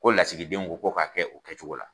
Ko lasigi den ko ko k'a kɛ u kɛ cogo la.